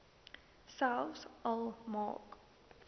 selfs al maak